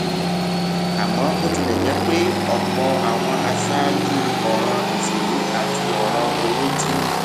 àmó bó tilè jé pé òpò àwọn aṣáájú òràn ìṣèlú àti òràn owó ti